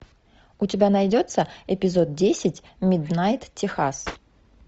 у тебя найдется эпизод десять миднайт техас